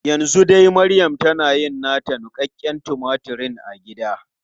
Yanzu dai maryam tana yin nata niƙaƙƙen tumatur a gida.